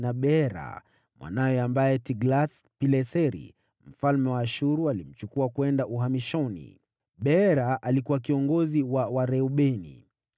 na Beera mwanawe, ambaye Tiglath-Pileseri mfalme wa Ashuru alimchukua kwenda uhamishoni. Beera alikuwa kiongozi wa Wareubeni.